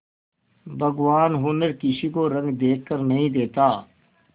भगवान हुनर किसी को रंग देखकर नहीं देता